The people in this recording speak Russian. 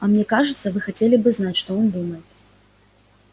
а мне кажется вы хотели бы знать что он думает